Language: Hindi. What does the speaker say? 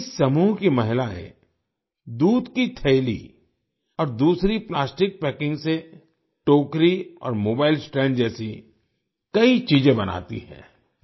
इस समूह की महिलाएं दूध की थैली और दूसरी प्लास्टिक पैकिंग से टोकरी और मोबाइल स्टैंड जैसी कई चीजें बनाती हैं